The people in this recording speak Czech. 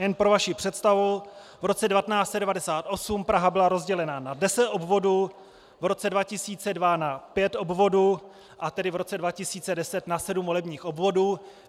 Jen pro vaši představu, v roce 1998 Praha byla rozdělena na deset obvodů, v roce 2002 na pět obvodů a tedy v roce 2010 na sedm volebních obvodů.